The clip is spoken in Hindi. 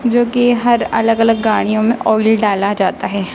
जो की हर अलग अलग गाड़ियों में ऑयली डाला जाता है।